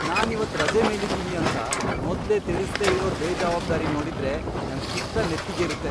ನಾನ್ ಇವತ್ ರಜೆ ಮೇಲಿದ್ದೀನಿ ಅಂತ ಮೊದ್ಲೇ ತಿಳಿಸ್ದೇ ಇರೋರ್ ಬೇಜವಾಬ್ದಾರಿ ನೋಡಿದ್ರೆ ನಂಗ್ ಪಿತ್ತ ನೆತ್ತಿಗೇರುತ್ತೆ.